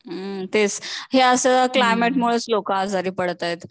तेच, हे असं क्लायमेट मुळेच लोक आजारी पडतायेत